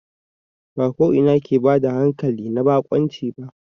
Ba ko ina ke bada hankali na baƙunci ba.